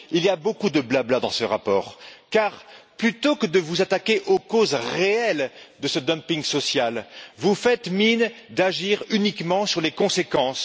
Il y a beaucoup de blabla dans ce rapport car, plutôt que de vous attaquer aux causes réelles de ce dumping social, vous faites mine d'agir uniquement sur les conséquences.